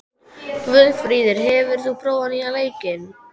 Guðfríður, hefur þú prófað nýja leikinn?